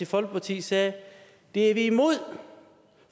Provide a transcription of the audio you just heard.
folkeparti sagde det er vi imod